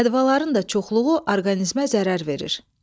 Ədvaların da çoxluğu orqanizmə zərər verir.